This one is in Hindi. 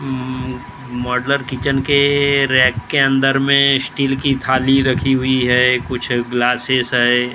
उम् मॉड्युलर किचन के रैंक के अंदर में स्टील की थाली रखी हुई है कुछ ग्लासेस है ।